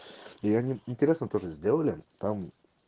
и они интересно тоже сделали там